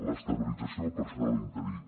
l’estabilització del personal interí